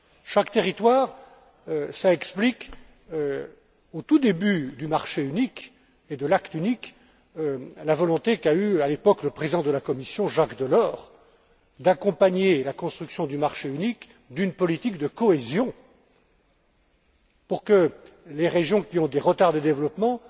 Chaque territoire, ça explique, au tout début du marché unique et de l'acte unique, la volonté qu'a eue, à l'époque, le président de la Commission, Jacques Delors, d'accompagner la construction du marché unique d'une politique de cohésion pour que les régions qui ont des retards de développement